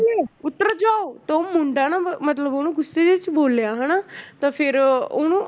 ਉਤਰ ਜਾਓ ਤੇ ਉਹ ਮੁੰਡਾ ਨਾ ਮਤਲਬ ਉਹਨੂੰ ਗੁੱਸੇ ਜਿਹੇ 'ਚ ਬੋਲਿਆ ਹਨਾ ਤਾਂ ਫਿਰ ਉਹਨੂੰ